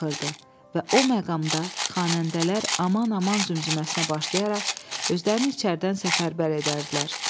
Və o məqamda xanəndələr aman-aman zümzüməsinə başlayaraq özlərini içəridən səfərbər edərdilər.